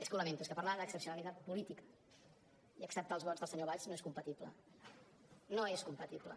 és que ho lamento és que parlar d’excepcionalitat política i acceptar els vots del senyor valls no és compatible no és compatible